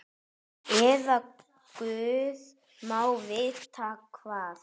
Eða guð má vita hvað.